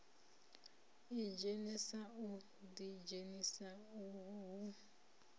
idzhenisa u ḓidzhenisa uho hu